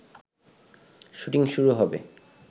shooting শুরু হবে